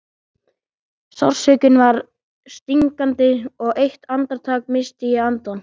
Sársaukinn var stingandi og eitt andartak missti ég andann.